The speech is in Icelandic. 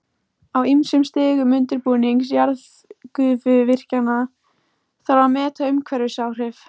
Á ýmsum stigum undirbúnings jarðgufuvirkjana þarf að meta umhverfisáhrif.